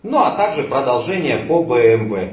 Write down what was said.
ну а также продолжение по бмв